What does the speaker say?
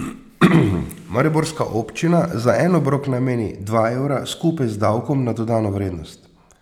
Mariborska občina za en obrok nameni dva evra skupaj z davkom na dodano vrednost.